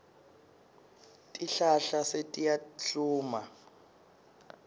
tihlahla setiyahluma